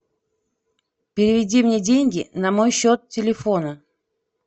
переведи мне деньги на мой счет телефона